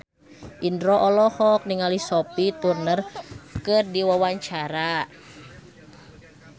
Indro olohok ningali Sophie Turner keur diwawancara